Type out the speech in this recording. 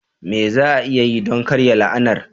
Me za a iya yi don karya la'anar?